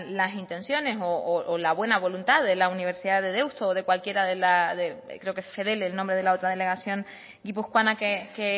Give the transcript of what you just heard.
las intenciones o la buena voluntad de la universidad de deusto o de cualquiera de creo que es fedele el nombre de la otra delegación guipuzcoana que